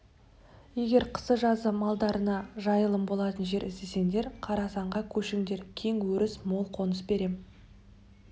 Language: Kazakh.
егер қысы-жазы малдарыңа жайылым болатын жер іздесеңдер қорасанға көшіңдер кең өріс мол қоныс берем